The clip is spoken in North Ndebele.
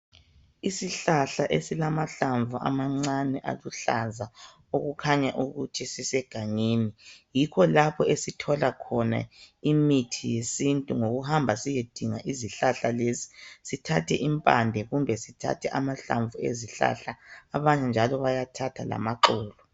Isihlahla esilamahlamvu amancane aluhlaza okukhanya ukuthi sisegangeni yikho lapho esithola khona imithi yesintu ngokuhamba siyedinga izihlahla lezi sithathe impande kumbe sithathe amahlamvu ezihlahla abanye njalo bayathatha lamaxolo.